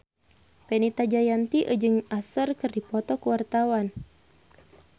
Fenita Jayanti jeung Usher keur dipoto ku wartawan